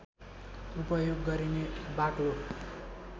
उपयोग गरिने बाक्लो